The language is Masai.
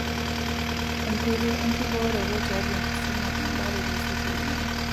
Enkoitoi enkibooroto tiatua enkisuma embaare toosukuulini.